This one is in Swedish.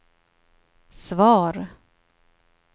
svar